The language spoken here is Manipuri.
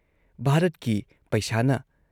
ꯚꯥꯔꯠꯀꯤ ꯄꯩꯁꯥꯅ